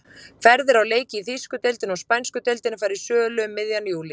Ferðir á leiki í þýsku deildinni og spænsku deildinni fara í sölu um miðjan júlí.